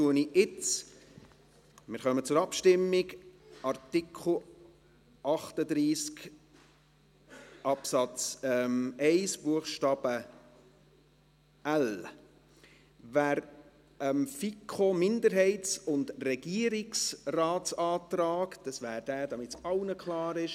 Dann kommen wir jetzt zur Abstimmung zu Artikel 38 Absatz 1 Buchstabe l. Wer dem Antrag der FiKoMinderheit und des Regierungsrates – damit das allen klar ist: